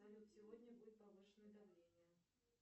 салют сегодня будет повышенное давление